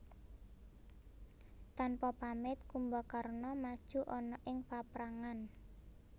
Tanpa pamit Kumbakarna maju ana ing paprangan